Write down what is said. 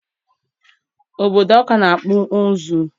Obodo Ọka na-akpụ ụzụ.